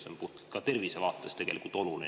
See on ka tervise vaates tegelikult oluline.